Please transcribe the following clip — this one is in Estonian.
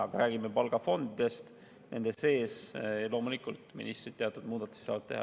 Aga kui rääkida palgafondidest, siis nende piires loomulikult ministrid teatud muudatusi saavad teha.